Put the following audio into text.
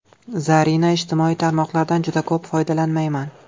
Zarina: Ijtimoiy tarmoqlardan juda ko‘p foydalanmayman.